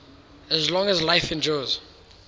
as long as life endures